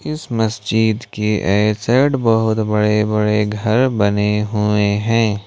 इस मस्जिद के ए साइड बहुत बड़े बड़े घर बने हुए हैं।